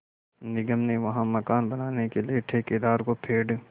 निगम ने वहाँ मकान बनाने के लिए ठेकेदार को पेड़